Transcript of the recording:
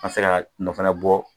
An se k'a nɔ fana bɔ